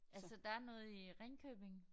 Altså der er noget i Ringkøbing